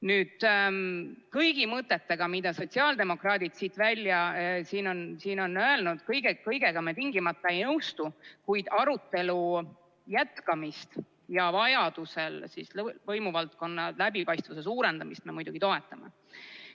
Nüüd, kõigi mõtetega, mida sotsiaaldemokraadid siin on öelnud, me tingimata ei nõustu, kuid arutelu jätkamist ja vajadusel võimuvaldkonna läbipaistvuse suurendamist me muidugi toetame.